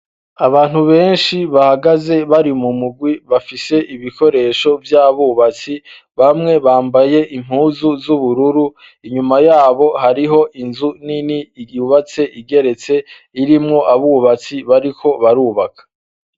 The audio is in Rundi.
Abantu benshi bahagaze bari mu mugwi bafise ibikoresho by'abubatsi, bamwe bambaye impuzu z'ubururu inyuma yabo hariho inzu nini yubatse igeretse irimwo abubatsi bariko barubaka.